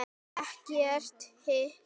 Ekkert hik.